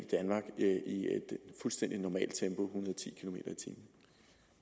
fuldstændig normalt tempo